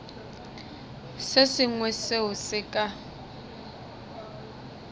se sengwe seo se ka